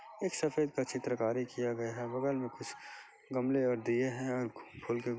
एक सफेद का चित्रकारी किया गया है बगल में कुछ गमले और दिये हैं और फूल --